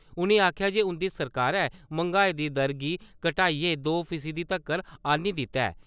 उ`नें आखेआ जे उं`दी सरकारै मैंगाई दी दर गी घटाइयै दो फीसदी तगर आन्नी दित्ता ऐ।